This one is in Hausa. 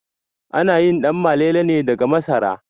Ana yin Ɗanmalele ne daga masara